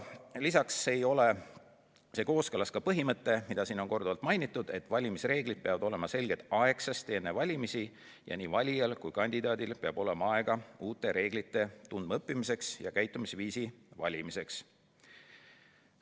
Lisaks ei ole see kooskõlas põhimõttega, mida siin on korduvalt mainitud: valimisreeglid peavad olema selged aegsasti enne valimisi ning nii valijal kui ka kandidaadil peab olema aega uusi reegleid tundma õppida ja käitumisviisi valida.